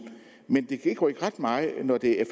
men det kan ikke rykke ret meget når det er